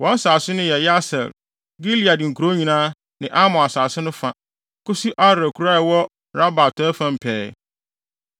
Wɔn asase no yɛ Yaser, Gilead nkurow nyinaa, ne Amon asase no fa, kosi Aroer kurow a ɛwɔ Raba atɔe fam pɛɛ.